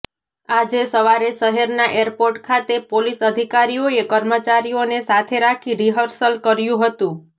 આજે સવારે શહેરના એરપોર્ટ ખાતે પોલીસ અધિકારીઓએ કર્મચારીઓને સાથે રાખી રિહર્સલ કર્યુ હતું